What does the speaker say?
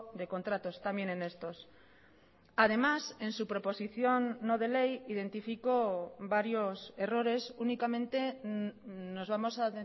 de contratos también en estos además en su proposición no de ley identifico varios errores únicamente nos vamos a